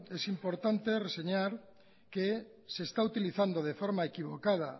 es importante reseñar que se esta utilizando de forma equivocada